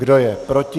Kdo je proti?